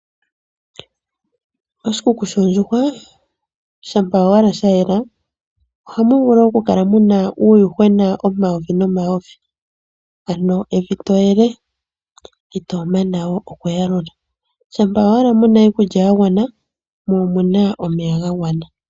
Oshikuku shoondjuhwa shapa owala shayela oha muvulu oku kala muna uuwuhwena omayovi no mayovi ano evi toyele itomana oku yakula shapa owala muna iikulya yangwana mo omuna omeya gangwana.